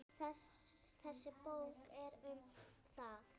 Þessi bók er um það.